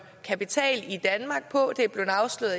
kapital i danmark på det er